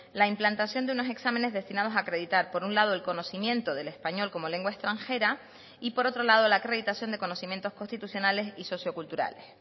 la implantación de unos exámenes destinados a acreditar por un lado el conocimiento del español como lengua extranjera y por otro lado la acreditación de conocimientos constitucionales y socioculturales